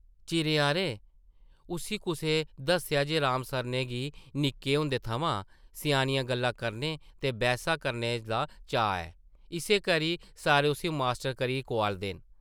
चिरें हारें उस्सी कुसै दस्सेआ जे राम सरनै गी निक्के होंदे थमां स्यानियां गल्लां करने ते बैह्सां करने दा चाऽ ऐ, इस्सै करी सारे उस्सी ‘मास्टर’ करी कोआलदे न ।